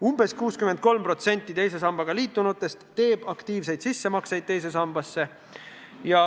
Umbes 63% teise sambaga liitunutest teeb teise sambasse aktiivselt sissemakseid.